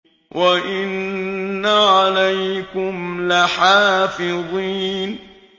وَإِنَّ عَلَيْكُمْ لَحَافِظِينَ